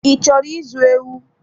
I chọrọ izu ewu?